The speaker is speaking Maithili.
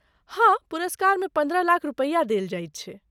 हाँ, पुरस्कारमे पन्द्रह लाख रुपैया देल जाइत छै।